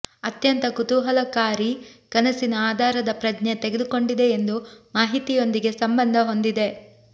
ಅತ್ಯಂತ ಕುತೂಹಲಕಾರಿ ಕನಸಿನ ಆಧಾರದ ಪ್ರಜ್ಞೆ ತೆಗೆದುಕೊಂಡಿದೆ ಎಂದು ಮಾಹಿತಿಯೊಂದಿಗೆ ಸಂಬಂಧ ಹೊಂದಿದೆ